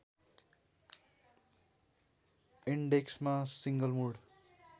इन्डेक्समा single mood